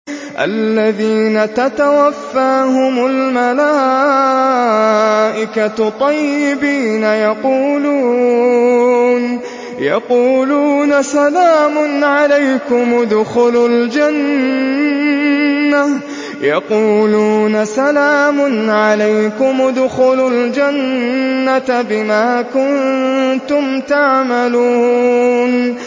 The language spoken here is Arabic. الَّذِينَ تَتَوَفَّاهُمُ الْمَلَائِكَةُ طَيِّبِينَ ۙ يَقُولُونَ سَلَامٌ عَلَيْكُمُ ادْخُلُوا الْجَنَّةَ بِمَا كُنتُمْ تَعْمَلُونَ